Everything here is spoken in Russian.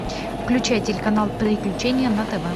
включай телеканал приключения на тв